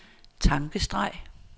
tankestreg